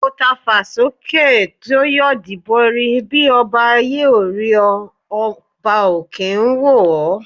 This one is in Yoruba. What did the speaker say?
Ọ̀ tafà sókè tó yídó borí, bí ọba ayé ò rí ọ ọba òkè ń wò ọ́.